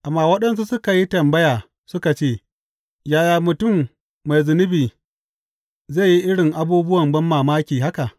Amma waɗansu suka yi tambaya suka ce, Yaya mutum mai zunubi zai yi irin abubuwan banmamaki haka?